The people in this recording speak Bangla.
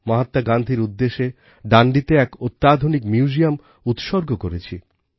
মহাত্মা গান্ধীর উদ্দেশে ডান্ডিতে এক অত্যাধুনিক মিউজিয়াম উৎসর্গ করেছি